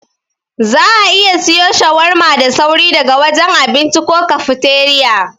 Za'a iya siwo shawarma da sauri daga wajen abinci ko kafteriya.